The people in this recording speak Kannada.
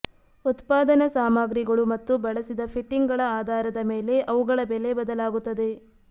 ಉತ್ಪಾದನಾ ಸಾಮಗ್ರಿಗಳು ಮತ್ತು ಬಳಸಿದ ಫಿಟ್ಟಿಂಗ್ಗಳ ಆಧಾರದ ಮೇಲೆ ಅವುಗಳ ಬೆಲೆ ಬದಲಾಗುತ್ತದೆ